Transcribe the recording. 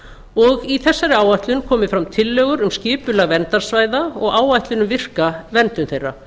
og í þessari áætlun komi fram tillögur um skipulag verndarsvæða og áætlun um virka verndun þeirra